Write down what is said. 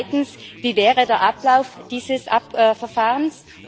Zweitens Wie wäre der Ablauf dieses Verfahrens?